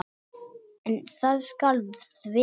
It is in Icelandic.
En það skal þvera.